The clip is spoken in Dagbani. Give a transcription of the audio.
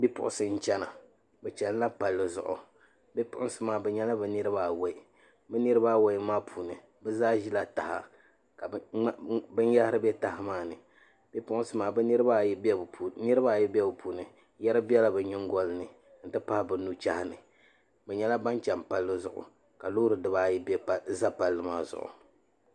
Bipuɣunsi n chɛna bi chɛnila palli zuɣu bipuɣunsi maa bi nyɛla bi niraba awoi bi niraba awoi maa puuni bi zaa ʒila taha ka niɛma bɛ taha maa puuni bipuɣunsi maa niraba ayi bɛ bi puuni yɛri biɛla bi nyingoli ni n ti pahi bi nu chɛhi ni bi nyɛla ban chɛni palli zuɣu ka loori bibaayi ʒɛ palli maa zuɣu